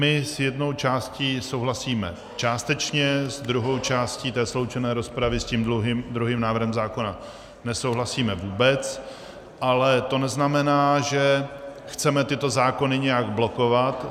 My s jednou částí souhlasíme částečně, s druhou částí té sloučené rozpravy, s tím druhým návrhem zákona, nesouhlasíme vůbec, ale to neznamená, že chceme tyto zákony nějak blokovat.